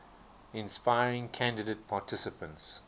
inspiring candidate participants